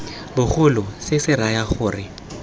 bogolo se se raya gore